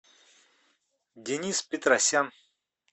денис петросян